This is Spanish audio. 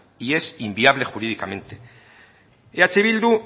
y es inviable jurídicamente eh bildu